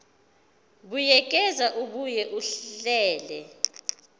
buyekeza abuye ahlele